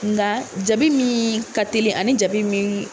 Nga jabi min ka telin ani jabi min